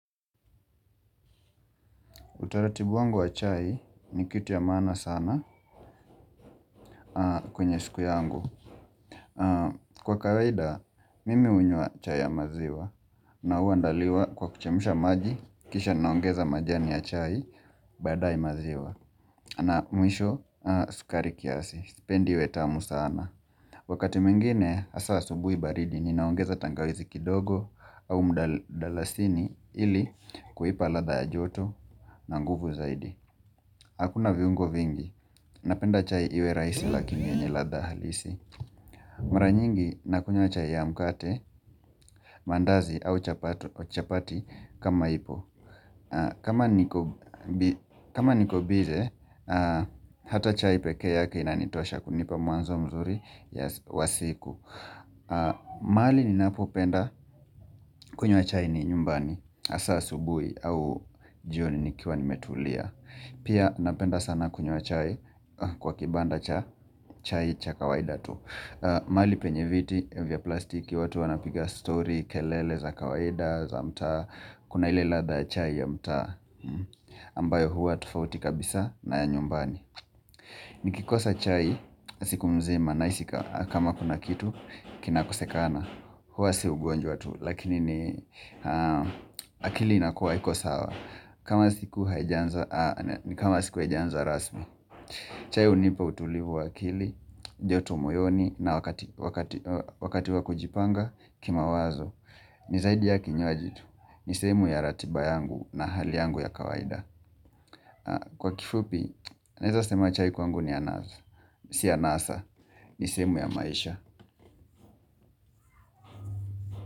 Utaratibu wangu wa chai ni kitu ya maana sana kwenye siku yangu. Kwa kawaida, mimi unywa chai ya maziwa. Na hua ndaliwa kwa kuchemusha maji, kisha naongeza majani ya chai, badaye maziwa. Na mwisho, sukari kiasi. Sipendi iwe tamu sana. Wakati mwingine, asa subui baridi, ninaongeza tangawizi kidogo au mdalasini ili kuipa ladha ya joto na nguvu zaidi. Hakuna viungo vingi Napenda chai iwe raisi lakini niladha halisi Maranyingi na kunywa chai ya mkate mandazi au chapati kama ipo kama nikobize Hata chai peke yake inanitosha kunipa muanzo mzuri ya wasiku mali ni napopenda kunywa chai ni nyumbani Asa asubui au jioni nikiwa nimetulia Pia napenda sana kunywa chai Kwa kibanda cha chai cha kawaida tu mali penyeviti vya plastiki watu wanapiga story kelele za kawaida za mtaa Kuna ile ladha chai ya mtaa ambayo hua tofauti kabisa na ya nyumbani Nikikosa chai siku mzima na isika kama kuna kitu kina kosekana Huwa siugonjwa tu Lakini ni akili inakuwa haikosawa kama siku haijanza rasmi chai unipa utulivu waakili, jotomoyoni na wakati wakujipanga kima wazo ni zaidi ya kinywaji tu, ni sehemu ya ratiba yangu na hali yangu ya kawaida Kwa kifupi, naeza sema chai kwangu ni anaza, si anaza, ni sehemu ya maisha.